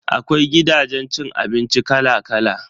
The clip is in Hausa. Akwai gidajen cin abinci kala kala.